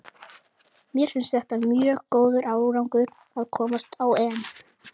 Mér finnst þetta mjög góður árangur að komast á EM.